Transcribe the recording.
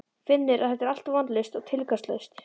Finnur að þetta er allt vita vonlaust og tilgangslaust.